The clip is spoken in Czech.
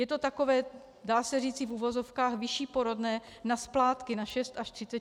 Je to takové dá se říci v uvozovkách vyšší porodné na splátky - na 6 až 36 splátek.